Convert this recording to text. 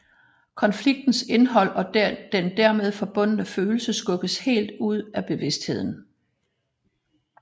Konfliktens indhold og den dermed forbundne følelse skubbes helt ud af bevidstheden